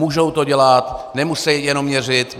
Můžou to dělat, nemusí jenom měřit.